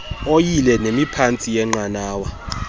oyile nemiphantsi yeenqanawa